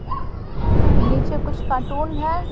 नीचे कुछ कार्टून है।